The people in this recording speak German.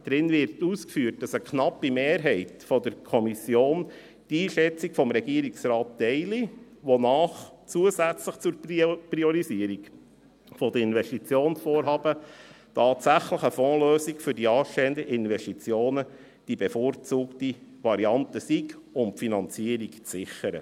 Darin wird ausgeführt, dass eine knappe Mehrheit der Kommission die Einschätzung des Regierungsrates teile, wonach zusätzlich zur Priorisierung der Investitionsvorhaben tatsächlich eine Fondslösung für die anstehenden Investitionen die bevorzugte Variante sei, um die Finanzierung zu sichern.